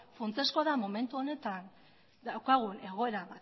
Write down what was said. funtsezkoa da momentu honetan daukagun egoera